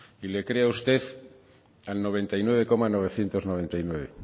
y le creo a usted al noventa y nueve coma noventa y nueve